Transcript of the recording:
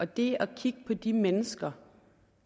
det at kigge på de mennesker